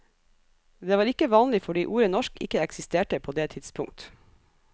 Det var ikke vanlig, fordi ordet norsk ikke eksisterte på det tidspunkt.